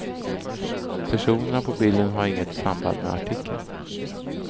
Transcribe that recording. Personerna på bilder har inget samband med artikeln.